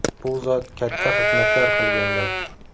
Bu zot katta xizmatlar qilganlar.